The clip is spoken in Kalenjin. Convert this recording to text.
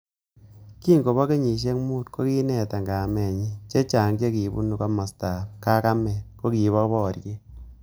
Kingobo kenyisiek mut koneta kametnyy .chechang che kibunu komastab kakamet kokibo boriet